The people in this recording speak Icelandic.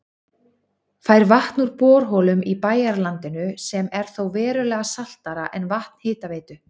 Fær vatn úr borholum í bæjarlandinu sem er þó verulega saltara en vatn Hitaveitu